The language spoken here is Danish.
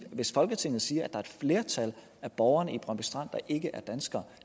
hvis folketinget siger at et flertal af borgerne i brøndby strand ikke er danskere